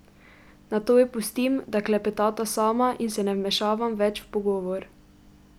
Nato ju pustim, da klepetata sama in se ne vmešavam več v pogovor.